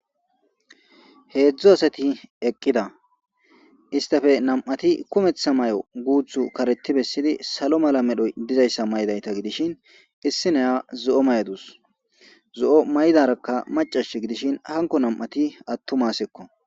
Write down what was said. heedzdzu asati eqqida istafe nam7ati kumetha may7o guuthu kareti bessidi salo mala medhoy dizayssa may7dayta gidishin issi neya zo7o may7adus zo7o may7darakka macash gidishin hanko nam7ati attu masekko